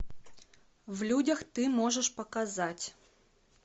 в людях ты можешь показать